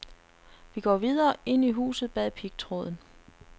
Vi går videre, ind i huset bag pigtråden.